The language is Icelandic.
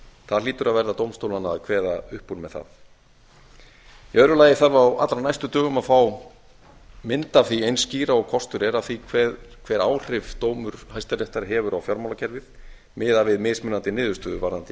það hlýtur að vera dómstólanna að kveða upp úr með það í öðru lagi þarf á allra næstu dögum að fá mynd eins skýra og kostur er af því hver áhrif dómur hæstaréttar hefur á fjármálakerfið miðað við mismunandi niðurstöðu varðandi